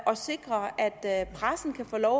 og sikre at at pressen kan få lov